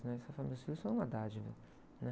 Eu falo que meus filhos são uma dádiva, né?